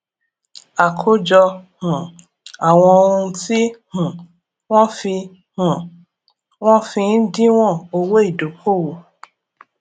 àkójọ um àwọn ohun tí um wọn fi um wọn fi ń díwòn owó ìdókòwò